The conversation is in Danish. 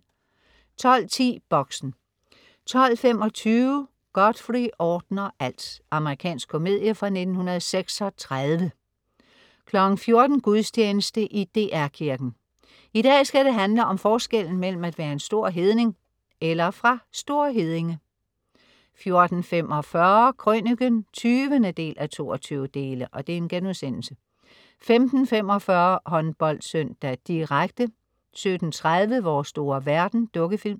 12.10 Boxen 12.25 Godfrey ordner alt. Amerikansk komedie fra 1936 14.00 Gudstjeneste i DR Kirken. I dag skal det handle om forskellen mellem at være en stor hedning eller fra St. Heddinge 14.45 Krøniken 20:22* 15.45 HåndboldSøndag: direkte 17.30 Vores store verden. Dukkefilm